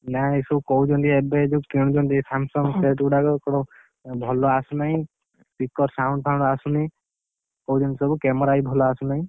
ନାଇ ଏସବୁ କହୁଛନ୍ତି ଏବେ ଯୋଉ କିଣୁଛନ୍ତି Samsung set ଗୁଡାକ କଣ, ଭଲ ଅଶୁନାହିଁ। speaker sound ଫାଉଣ୍ଡୁ ଆସୁନି। କହୁଛନ୍ତି ସବୁ camera ବି ଭଲ ଆସୁନାଇ।